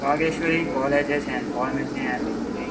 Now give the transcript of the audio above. Vageshwari colleges and pharmacy and engineering .